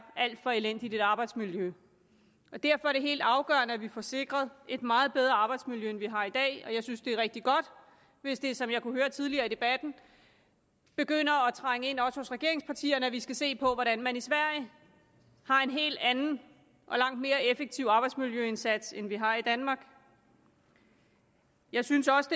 alt for elendigt arbejdsmiljø og derfor er det helt afgørende at vi får sikret et meget bedre arbejdsmiljø end vi har i dag jeg synes at det er rigtig godt hvis det som jeg kunne høre tidligere i debatten begynder at trænge ind også hos regeringspartierne at vi skal se på hvordan man i sverige har en helt anden og langt mere effektiv arbejdsmiljøindsats end vi har i danmark jeg synes også